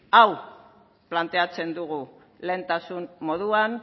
hau planteatzen dugu lehentasun moduan